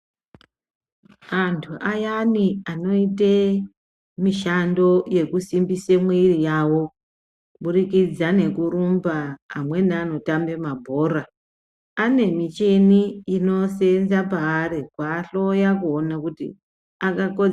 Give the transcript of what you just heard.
Antu ayani anoite mishando yekusimbise mwiri yavo kubudzikidza nekurumba amweni anotambe mabhora, anemicheni inosenza paari kuahloya kuona kuti akakodzera ere.